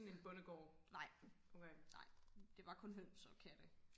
nej nej det var kun høns og katte